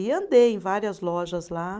E andei em várias lojas lá.